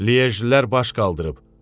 Liejlilər baş qaldırıb.